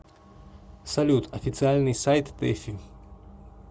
салют официальный сайт тэфи